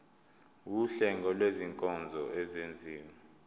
wuhlengo lwezinkonzo ezenziwa